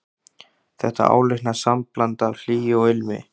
Þetta áleitna sambland af hlýju og ilmi.